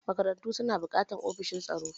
Makarantu suna buƙatar ofishin tsaro.